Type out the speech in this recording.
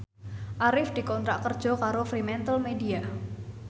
Arif dikontrak kerja karo Fremantlemedia